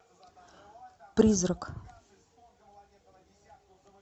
призрак